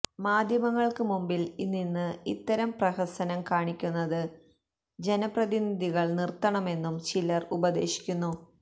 മാധ്യമങ്ങള്ക്ക് മുമ്പില് നിന്ന് ഇത്തരം പ്രഹസനം കാണിക്കുന്നത് ജനപ്രതിനിധികള് നിര്ത്തണമെന്നും ചിലര് ഉപദേശിക്കുന്നു